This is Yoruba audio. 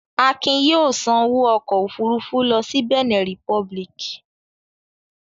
Akin yóò sanwó ọkọ̀-òfurufú lọ sí Bẹ̀nẹ̀ Republic.